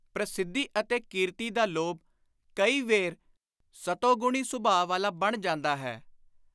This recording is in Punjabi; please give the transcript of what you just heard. ਪ੍ਰਸਿੱਧੀ ਅਤੇ ਕੀਰਤੀ ਦਾ ਲੋਭ ਕਈ ਵੇਰ ਸਤੋਗੁਣੀ ਸੁਭਾ ਵਾਲਾ ਬਣ ਜਾਂਦਾ ਹੈ।